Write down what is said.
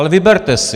Ale vyberte si.